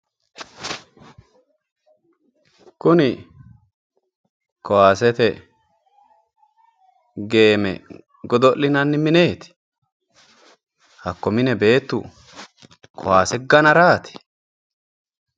kuni kaasete geeme godo'linanni mineeti hakko mine beettu kaase ganaraati?